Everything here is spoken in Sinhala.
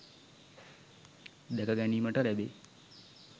දැක ගැනීමට ලැබේ.